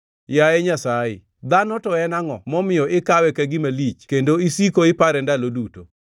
“Yaye Nyasaye, dhano to en angʼo momiyo ikawe ka gima lich kendo isiko ipare ndalo duto,